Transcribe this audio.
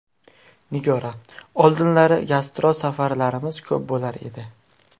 Nigora: Oldinlari gastrol safarlarimiz ko‘p bo‘lar edi.